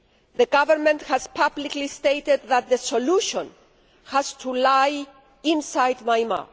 The Government has publicly stated that the solution has to lie inside Myanmar.